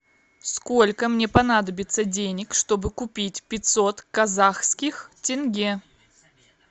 сколько мне понадобится денег чтобы купить пятьсот казахских тенге